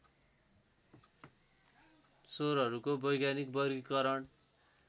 स्वरहरूको वैज्ञानिक वर्गीकरण